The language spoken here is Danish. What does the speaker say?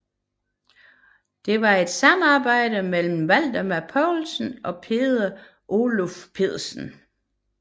Det var et samarbejde mellem Valdemar Poulsen og Peder Oluf Pedersen